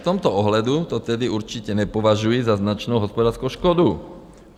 V tomto ohledu to tedy určitě nepovažuji za značnou hospodářskou škodu.